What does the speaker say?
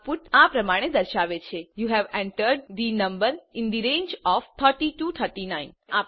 output આ પ્રમાણે દર્શાવે છેyou હવે entered the number in the range of 30 to 39